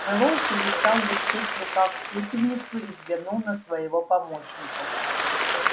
мэллоу перестал вертеть в руках пепельницу и взглянул на своего помощника